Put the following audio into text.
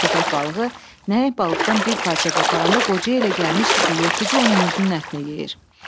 Köpək balığı nəhəng balıqdan bir parça qoparanda qocaya elə gəlmişdi ki, yırtıcı onun özünün ətini yeyir.